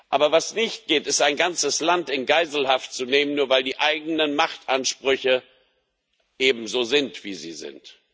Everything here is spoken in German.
Aber was nicht geht, ist, ein ganzes Land in Geiselhaft zu nehmen, nur weil die eigenen Machtansprüche eben so sind, wie sie sind.